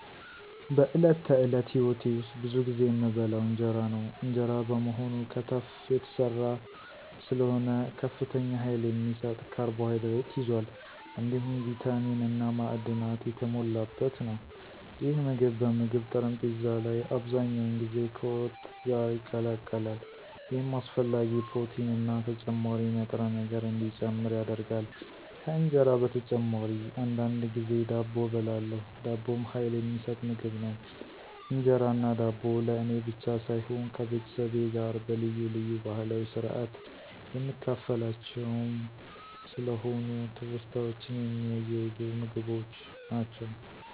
በዕለት ተዕለት ሕይወቴ ውስጥ ብዙ ጊዜ የምበላው እንጀራ ነው። እንጀራ በመሆኑ ከተፍ የተሰራ ስለሆነ ከፍተኛ ኃይል የሚሰጥ ካርቦሃይድሬት ይዟል፣ እንዲሁም ቪታሚን እና ማዕድናት የተሞላበት ነው። ይህ ምግብ በምግብ ጠረጴዛ ላይ አብዛኛውን ጊዜ ከወጥ ጋር ይቀላቀላል፣ ይህም አስፈላጊ ፕሮቲንና ተጨማሪ ንጥረ ነገር እንዲጨምር ያደርጋል። ከእንጀራ በተጨማሪ አንዳንድ ጊዜ ዳቦ እበላለሁ። ዳቦም ኃይል የሚሰጥ ምግብ ነው። እንጀራና ዳቦ ለእኔ ብቻ ሳይሆን ከቤተሰቤ ጋር በልዩ ልዩ ባህላዊ ስርአት የምካፈላቸውም ስለሆኑ ትውስታዎችን የሚያያዙ ምግቦች ናቸው።